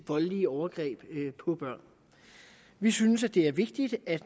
voldelige overgreb på børn vi synes at det er vigtigt at